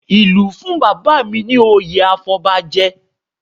Ìlú fún bàbá mi ní oyè afọbajẹ